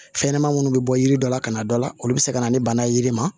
Fɛnɲɛnɛmani munnu bɛ bɔ yiri dɔ la ka na dɔ la olu bɛ se ka na ni bana ye yiri ma